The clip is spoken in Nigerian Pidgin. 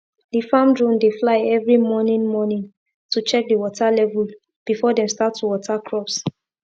the farm drone dey fly every morning morning to check the water level before dem start to water crops